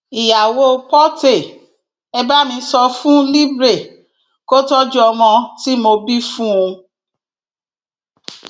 ìyàwó porté e bá mi sọ fún libre kó tọjú ọmọ tí mo bí fún un